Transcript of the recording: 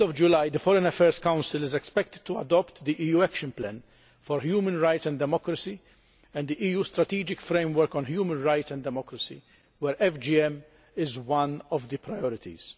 the end of July, the Foreign Affairs Council is expected to adopt the EU Action Plan for Human Rights and Democracy and the EU Strategic Framework on Human Rights and Democracy, where FGM is one of the priorities.